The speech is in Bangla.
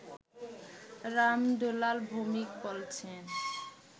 রাম দুলাল ভৌমিক বলছেন